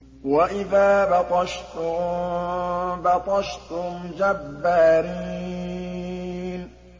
وَإِذَا بَطَشْتُم بَطَشْتُمْ جَبَّارِينَ